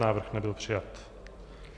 Návrh nebyl přijat.